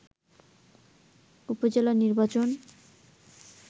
উপজেলা নির্বাচন